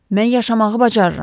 Mən yaşamağı bacarıram.